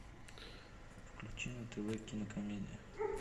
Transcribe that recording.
включи на тв кинокомедия